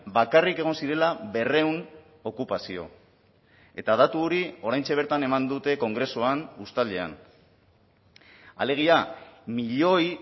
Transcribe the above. bakarrik egon zirela berrehun okupazio eta datu hori oraintxe bertan eman dute kongresuan uztailean alegia milioi